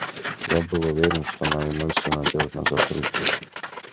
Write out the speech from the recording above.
я был уверен что мои мысли надёжно закрыты